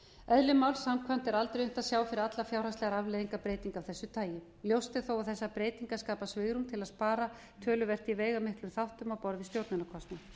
eðli máls samkvæmt er aldrei hægt að sjá fyrir alla fjárhagslegar afleiðingar breytinga af þessu tagi ljóst er þó að þessar breytingar skapa svigrúm til að spara töluvert í veigamiklum þáttum á borð við stjórnunarkostnað